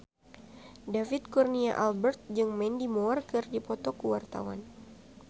David Kurnia Albert jeung Mandy Moore keur dipoto ku wartawan